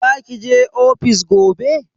Za ki je ofis gobe?